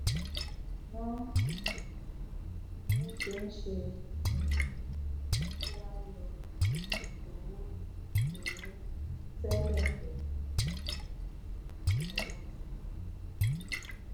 wọn um ní o se n se um ki a lọ owó owó tẹlẹ pelu um ọwọ tún tun